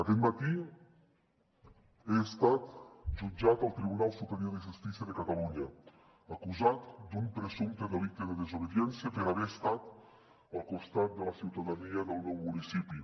aquest matí he estat jutjat al tribunal superior de justícia de catalunya acusat d’un presumpte delicte de desobediència per haver estat al costat de la ciutadania del meu municipi